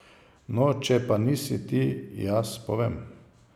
No, če pa nisi, ti jaz povem.